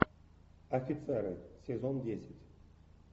офицеры сезон десять